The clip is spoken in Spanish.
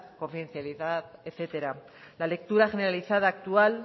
confidencialidad etcétera la lectura generalizada actual